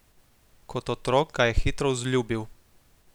Kot otrok ga je hitro vzljubil.